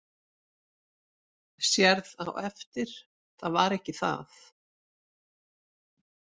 Sérð á eftir það var ekki það.